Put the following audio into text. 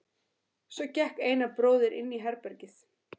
Svo gekk Einar bróðir inn í herbergið.